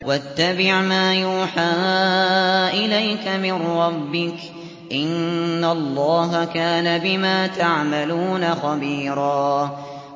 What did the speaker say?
وَاتَّبِعْ مَا يُوحَىٰ إِلَيْكَ مِن رَّبِّكَ ۚ إِنَّ اللَّهَ كَانَ بِمَا تَعْمَلُونَ خَبِيرًا